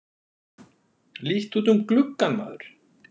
Líttu út um gluggann, maður!